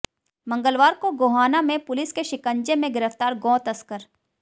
मंगलवार को गोहाना में पुलिस के शिकंजे में गिरफ्तार गौ तस्कर